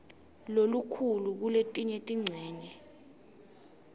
lokukhulu kuletinye tincenye